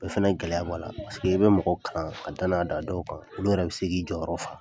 O fana gɛlɛya b'a la paseke i bɛ mɔgɔ kalan ka danaya d'a dɔw kan olu yɛrɛ bɛ k'i jɔyɔrɔ fa.